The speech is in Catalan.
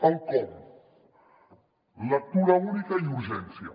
el com lectura única i urgència